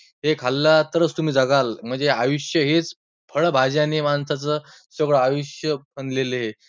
ते खाल्ला तर तुम्हीच जगाल, म्हणजे आयुष्य हेचं फळ भाज्याने माणसाचं सगळ आयुष्य बनलेले आहे.